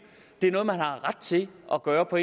det er noget man har ret til at gøre på